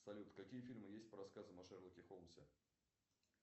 салют какие фильмы есть по рассказам о шерлоке холмсе